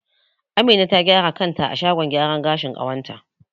Amina ta gyara kanta a shagon gyaran gashin ƙawata.